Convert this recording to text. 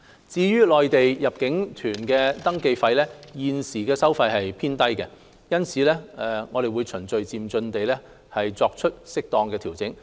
至於內地入境旅行團登記費，現行收費水平偏低，因此我們會循序漸進地作適當調整。